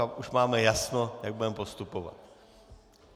A už máme jasno, jak budeme postupovat.